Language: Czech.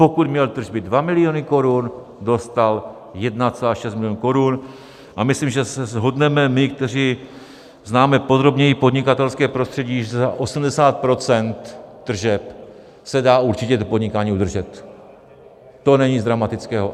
Pokud měl tržby 2 miliony korun, dostal 1,6 milionu korun, a myslím, že se shodneme my, kteří známe podrobněji podnikatelské prostředí, že za 80 % tržeb se dá určitě podnikání udržet, to není nic dramatického.